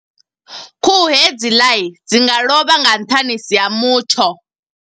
Khuhu hedziḽa, dzi nga lovha nga nṱhanisi ha mutsho.